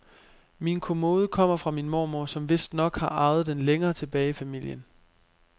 Min kommode kommer fra min mormor, som vistnok har arvet den længere tilbage i familien.